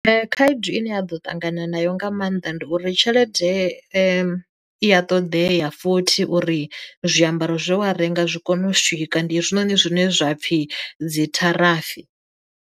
Khaedu ine ya ḓo ṱangana nayo nga maanḓa ndi uri tshelede i ya ṱoḓea futhi uri zwiambaro zwe wa renga zwi kone u swika ndi hezwinoni zwine zwapfhi dzi tharafi.